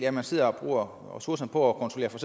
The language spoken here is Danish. at man sidder og bruger ressourcerne på at kontrollere for